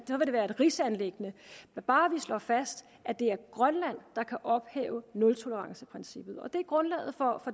rigsanliggende når bare vi slår fast at det er grønland der kan ophæve nultoleranceprincippet det er grundlaget for